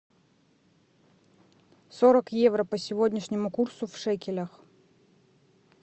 сорок евро по сегодняшнему курсу в шекелях